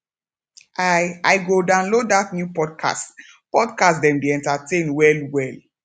i i go download dat new podcast podcast dem dey entertain wellwell